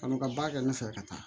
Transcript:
Ka n'u ka baara kɛ ne fɛ ka taa